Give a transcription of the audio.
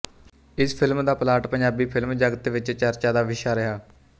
ਇਸ ਫਿਲਮ ਦਾ plot Punjabi film ਜਗਤ ਵਿੱਚ ਚਰਚਾ ਦਾ ਵਿਸ਼ਾ ਰਿਹਾ